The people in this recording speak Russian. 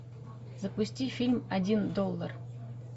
запусти фильм один доллар